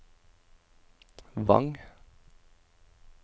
Vang